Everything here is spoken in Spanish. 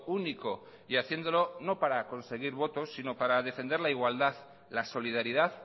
único y haciéndolo no para conseguir votos sino para defender la igualdad la solidaridad